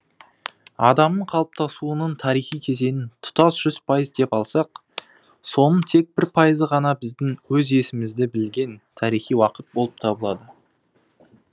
адамның қалыптасуының тарихи кезеңін тұтас жүз пайыз деп алсақ соның тек бір пайызы ғана біздің өз есімізді білген тарихи уақыт болып табылады